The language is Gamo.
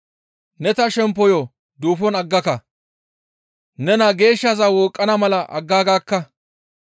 Ne ta shemppoyo duufon aggaka; ne naa geeshshaza wooqqana mala aggaagakka.